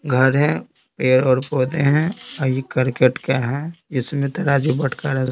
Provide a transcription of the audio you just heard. घर है पैर और पौधे हैं और ये करकेट का है इसमें तराजू बटकारा--